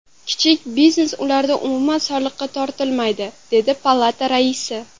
Kichik biznes ularda umuman soliqqa tortilmaydi”, dedi palata raisi.